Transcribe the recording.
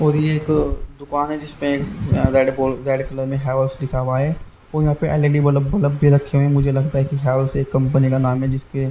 और यह दुकान है जिसमें एक रेड रेड कलर में हेवर्स लिखा हुआ है और यहाँ पे एल_ई_डी बल बलब भी रखे हुए हैं मुझे लगता है कि हैवर्स एक कंपनी का नाम है जिस पे--